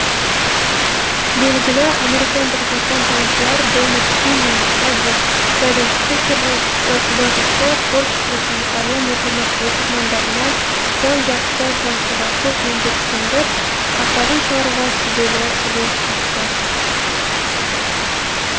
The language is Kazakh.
белгілі американдық жапонтанушылар дональд кин мен эдвард зайденштиккер жазушы творчествосын әлем оқырмандарына жан жақты танытуға көп еңбек сіңіріп атағын шығаруға сүбелі үлес қосты